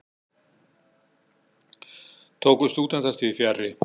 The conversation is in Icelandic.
Tóku stúdentar því fjarri.